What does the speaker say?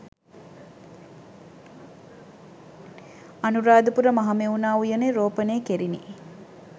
අනුරාධපුර මහමෙවුනා උයනේ රෝපණය කෙරිණි.